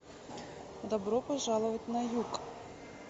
добро пожаловать на юг